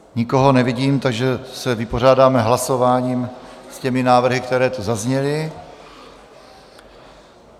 Nikoho nevidím, takže se vypořádáme hlasováním s těmi návrhy, které tu zazněly.